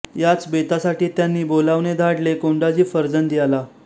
याच बेतासाठी त्यांनी बोलावणे धाडले कोंडाजी फर्जद याला